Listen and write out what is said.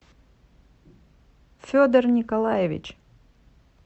федор николаевич